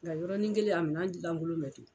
Nka yɔrɔnin kelen a minan lankolon bɛ to.